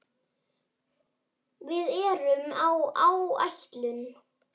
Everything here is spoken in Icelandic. Við erum á áætlun.